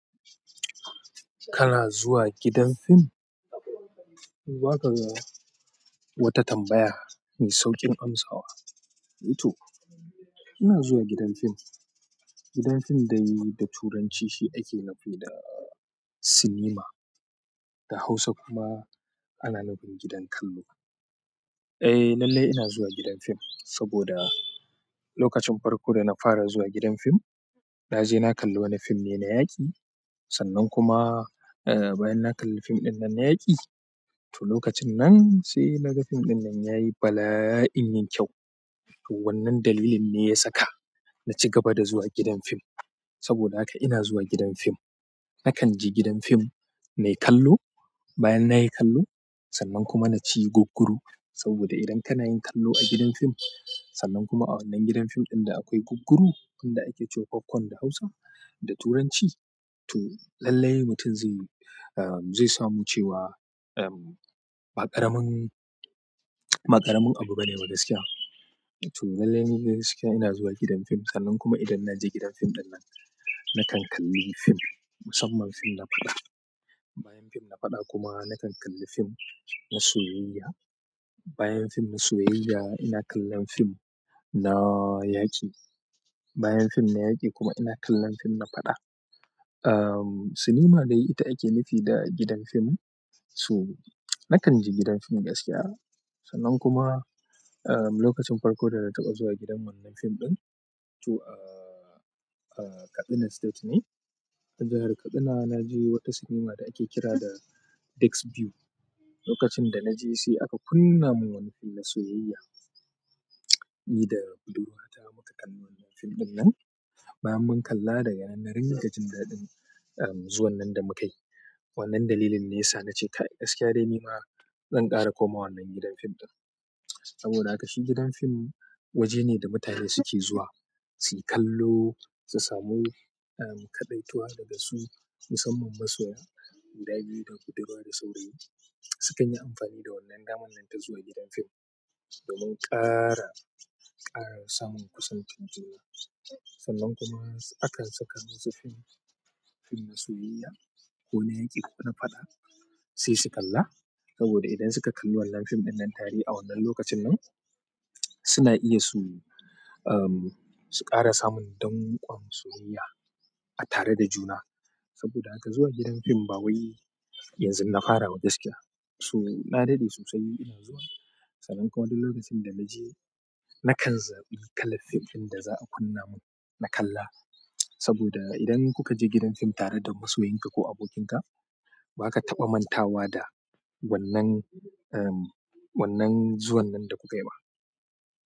Kana zuwa gidan fim? Za ka ga wata tambaya mai sauƙin amsawa. To, ina zuwa gidan fim. Gidan fim da yi da Turanci shi ake nufi da sinima, da Hausa kuma ana nufin gidan kallo. Eh, lallai ina zuwa gidan fim saboda lokacin farko da na fara zuwa gidan fim, na je na kalli wani fim ne na yaƙi. Sannan kuma, eh, bayan na kalli fim ɗin nan na yaƙi, to lokacin nan sai na ga fim ɗin nan yayi bala'in yin kyau. To wannan dalilin ne ya saka na ci gaba da zuwa gidan fim. Saboda haka ina zuwa gidan fim. Nakan je gidan fim nai kallo, bayan na yi kallo, sannan kuma na ci gugguru. Saboda idan kana yin kallo a gidan fim, sannan kuma a wannan gidan fim ɗin da akwai gugguru wanda ake cewa kwankwan da Hausa da Turanci, to lallai mutum zai, eh, zai samu cewa, eh, ba ƙaramin, ƙaramin abu bane ba gaskiya. To lallai ni gaskiya ina zuwa gidan fim. Sannan kuma idan na je gidan fim ɗin nan, nakan kalli fim, musamman fim na faɗa. Bayan fim na faɗa kuma nakan kalli fim na soyayya. Bayan fim na soyayya ina kallon fim na yaƙi. Bayan fim na yaki kuma ina kallon fim na faɗa, am sinima dai ita ake nufi da gidan fim. To, nakan je gidan fim gaskiya. Sannan kuma, eh, lokacin farko da na taɓa zuwa gidan wannan fim ɗin, to, eh, eh, Kaduna State ne. A jahar Kaduna na je wata sinima da ake kira da Dexview. Lokacin da na je sai aka kunna mun wani fim na soyayya. Ni da budurwa ta muka kalli wannan fim ɗin nan. Bayan mun kalla daga nan na ringa jin daɗin, eh, zuwan nan da mukai. Wannan dalilin ne ya sa na ce gaskiya dai ni ma zan ƙara komawa wannan gidan fim ɗin. Saboda haka shi gidan fim waje ne da mutane suke zuwa suyi kallo, su samu, eh, kaɗaituwa daga su musamman masoya, gida biyu da budurwa da saurayi sukan yi amfani da wannan daman nan ta zuwa gidan fim domin ƙara, ƙara samun kusancin juna. Sannan kuma hakan suka kunna fim na soyayya kona yaki ko faɗa saisu kalla. Saboda idan suka kalli wannan fim ɗin nan tare a wannan lokacin nan, suna iya su, eh, su ƙara samun danƙwan soyayya a tare da juna. Saboda haka zuwa gidan fim ba wai yanzu na fara ba gaskiya. To, na daɗe sosai ina zuwa. Sannan kuma duk lokacin da na je nakan zaɓi kalar fim ɗin da za a kunna mun na kalla. Saboda idan kuka je gidan fim tare da masoyinka ko abokinka, ba ka taɓa mantawa da wannan, eh, wannan zuwan nan da kuka yi ba.